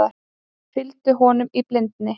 Fylgdi honum í blindni